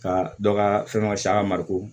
Ka dɔ ka fɛnw ka si a ka mariko